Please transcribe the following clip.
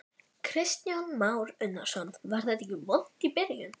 Kristján Már Unnarsson: Var þetta ekki vont í byrjun?